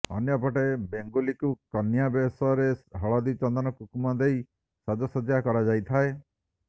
ଅନ୍ୟପଟେ ବେଙ୍ଗୁଲିକୁ କନ୍ୟା ବେଶରେ ହଳଦୀ ଚନ୍ଦନ କୁଙ୍କୁମ ଦେଇ ସାଜସଜ୍ଜ୍ୟ କରାଯାଇଥାଏ